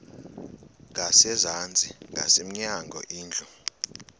ngasezantsi ngasemnyango indlu